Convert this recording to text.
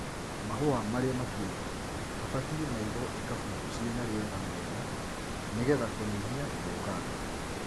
Mahũa marĩa matuĩtwo mabatie maigwo ikabu cina riera rĩega nĩgetha kũnyia gũthũkanga.